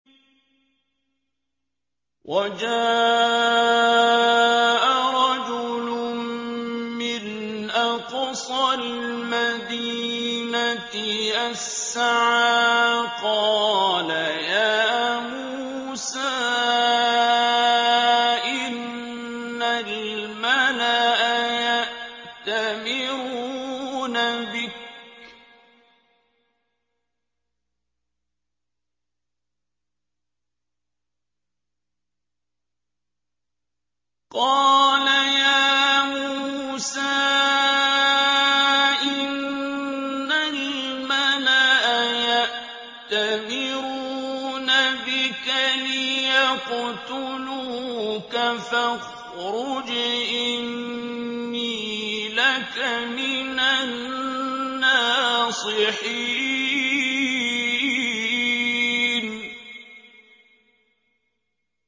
وَجَاءَ رَجُلٌ مِّنْ أَقْصَى الْمَدِينَةِ يَسْعَىٰ قَالَ يَا مُوسَىٰ إِنَّ الْمَلَأَ يَأْتَمِرُونَ بِكَ لِيَقْتُلُوكَ فَاخْرُجْ إِنِّي لَكَ مِنَ النَّاصِحِينَ